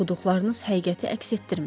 Oxuduqlarınız həqiqəti əks etdirmir.